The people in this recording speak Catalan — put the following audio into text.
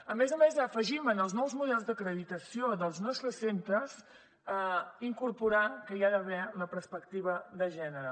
a més a més afegim en els nous models d’acreditació dels nostres centres incorporar que hi ha d’haver la perspectiva de gènere